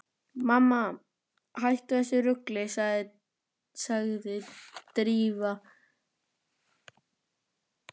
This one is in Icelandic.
Mamma, hættu þessu rugli sagði Drífa angistarfull.